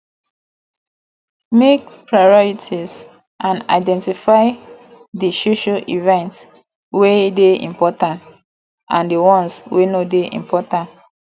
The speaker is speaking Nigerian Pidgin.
make priorities and identify di social event wey dey important and di ones wey no dey important